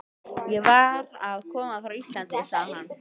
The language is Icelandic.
Ég var að koma frá Íslandi, sagði hann.